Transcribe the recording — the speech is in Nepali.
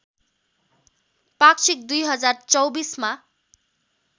पाक्षिक २०२४ मा